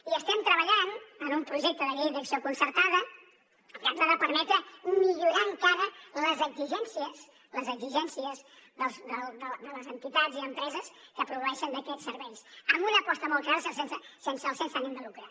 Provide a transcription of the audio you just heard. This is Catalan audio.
i estem treballant en un projecte de llei d’acció concertada que ens ha de permetre millorar encara les exigències les exigències de les entitats i empreses que proveeixen d’aquests serveis amb una aposta molt clara sense ànim de lucre